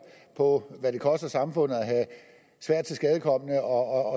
for hvad det koster samfundet at have svært tilskadekomne og